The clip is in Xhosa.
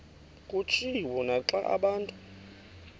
kutshiwo naxa abantu